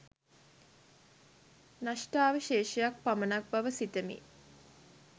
නෂ්ඨාවශේෂයක් පමණක් බව සිතමි